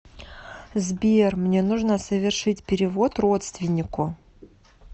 сбер мне нужно совершить перевод родственнику